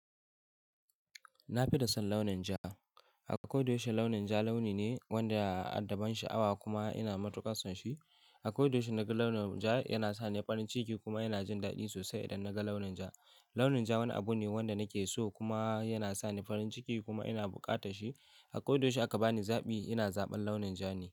Na fi son launin ja. A kodayaushe launin ja launi ne wanda adda ban sha'awa kuma ina matuƙar son shi. Akwai tushen naga launin ja yana sa ni farin ciki kuma yana jin daɗi sosai idan naga launin ja. Launin ja wani abu ne wanda nake so kuma yana sa ni farin ciki kuma ina buƙatar shi. A kodayaushe aka bani zaɓi ina zaɓan launin ja ne.